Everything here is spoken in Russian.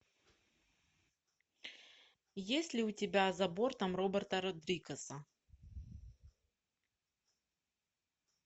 есть ли у тебя за бортом роберта родригеса